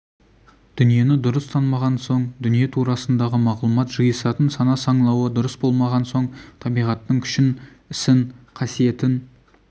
дүниені дұрыс танымаған соң дүние турасындағы мағлұмат жиысатын сана-саңлауы дұрыс болмаған соң табиғаттың күшін ісін қасиетін